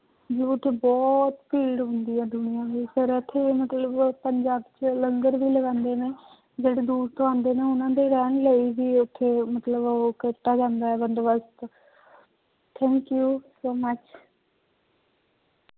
ਉੱਥੇ ਬਹੁਤ ਭੀੜ ਹੁੰਦੀ ਹੈ ਦੁਨੀਆ ਦੀ ਪਰ ਇੱਥੇ ਮਤਲਬ ਪੰਜਾਬ ਚ ਲੰਗਰ ਵੀ ਲਗਾਉਂਦੇ ਨੇ ਜਿਹੜੇ ਦੂਰ ਤੋਂ ਆਉਂਦੇ ਨੇ ਉਹਨਾਂ ਦੇ ਰਹਿਣ ਲਈ ਵੀ ਉੱਥੇ ਮਤਲਬ ਉਹ ਕੀਤਾ ਜਾਂਦਾ ਹੈ ਬੰਦੋਬਸ਼ਤ thank you so much